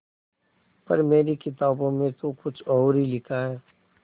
पर मेरी किताबों में तो कुछ और ही लिखा है